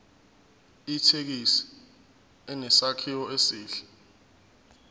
ithekisi inesakhiwo esihle